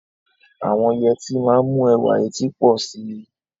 Àwọn yẹtí máa ń mú ẹwà etí pọ̀ sí i.